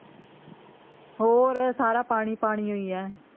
ਹੋਰ ਸਾਰਾ ਪਾਣੀ ਪਾਣੀ ਹੋਈ ਐ